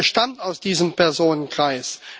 stammt aus diesem Personenkreis.